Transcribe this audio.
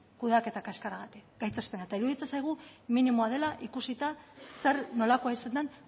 kudeaketa kaskarragatik gaitzespena eta iruditzen zaigu minimoa dela ikusita zer nolakoa izan den